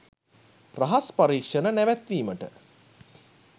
රහස් පරීක්ෂණ නැවැත්වීමට